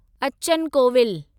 Achan Kovil